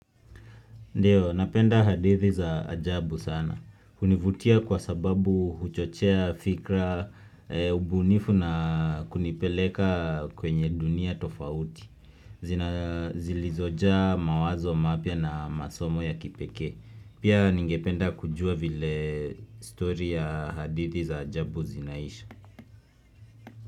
Ndio, napenda hadithi za ajabu sana. Hunivutia kwa sababu huchochea fikra ubunifu na kunipeleka kwenye dunia tofauti. Zilizojaa mawazo mapya na masomo ya kipekee Pia ningependa kujua vile story ya hadithi za ajabu zinaisha.